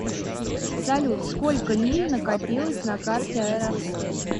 салют сколько миль накопилось на карте аэрофлот